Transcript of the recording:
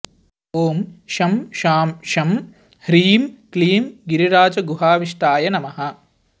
ॐ शं शां षं ह्रीं क्लीं गिरिराजगुहाविष्टाय नमः